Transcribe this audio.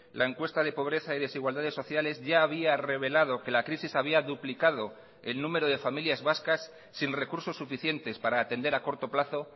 la encuesta de pobreza y desigualdades sociales ya había rebelado que la crisis había duplicado el número de familias vascas sin recursos suficientes para atender a corto plazo